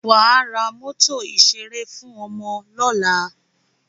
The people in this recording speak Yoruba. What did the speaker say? Wà á ra mọ́tò ìṣẹré fún ọmọ lọ́la!